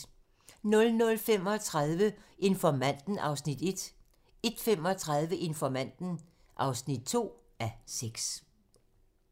00:35: Informanten (1:6) 01:35: Informanten (2:6)